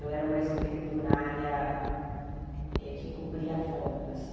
Eu era uma escriturária que cobria folgas.